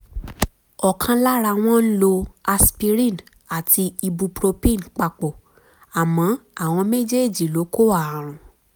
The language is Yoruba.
ọ̀kan lára wọn ń lo aspirin àti ibupropin papọ̀ àmọ́ àwọn méjèèjì ló kó ààrùn